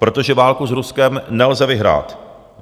Protože válku s Ruskem nelze vyhrát.